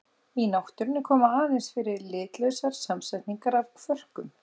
Í náttúrunni koma aðeins fyrir litlausar samsetningar af kvörkum.